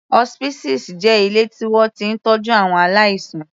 Hospices jẹ́ ilé tí wọ́n ti ń tọ́jú àwọn aláìsàn.